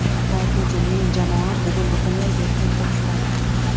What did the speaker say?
Ha, aytgancha, mening jamoam bugun butunlay erkin to‘p suradi.